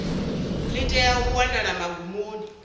ḽi tea u wanala magumoni